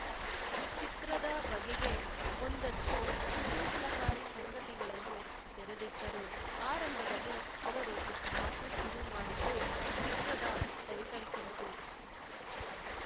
ಚಿತ್ರದ ಬಗೆಗೆ ಒಂದಷ್ಟುಕುತೂಹಲಕಾರಿ ಸಂಗತಿಗಳನ್ನು ತೆರೆದಿಟ್ಟರು ಆರಂಭದಲ್ಲಿ ಅವರು ಮಾತು ಶುರು ಮಾಡಿದ್ದು ಚಿತ್ರದ ಟೈಟಲ್‌ ಕುರಿತು